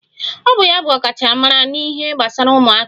Ọ bụ ya bụ ọkachamara n'ihe gbasara ụmụaka